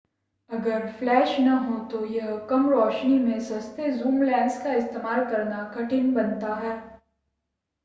अगर फ़्लैश न हो तो यह कम रोशनी में सस्ते ज़ूम लेंस का इस्तेमाल करना कठिन बनाता है